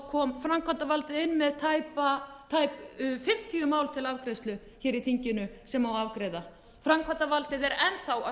kom framkvæmdarvaldið inn með tæp fimmtíu mál til afgreiðslu í þinginu sem á að afgreiða framkvæmdarvaldið er enn þá að